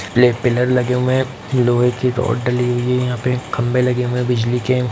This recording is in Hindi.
ब्लैक पिलर लगे हुए है लोहे की रॉड डली हुई है यहां पे खंबे लगे हुए है बीजली के।